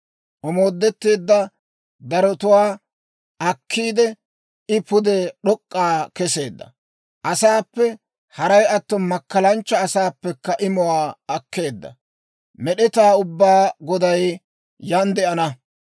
Omoodetteedda darotuwaa akkiide, I pude d'ok'k'aa keseedda. Asaappe, haray atto makkalanchcha asaappekka imuwaa akkeedda. Med'etaa Ubbaa Goday yaan de'ana.